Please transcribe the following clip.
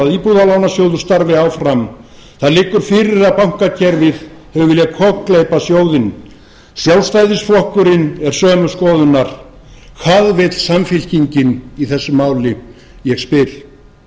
íbúðalánasjóður starfi áfram það liggur fyrir að bankakerfið hefur viljað kokgleypa sjóðinn sjálfstæðisflokkurinn er sömu skoðunar hvað vill samfylkingin í þessu máli ég spyr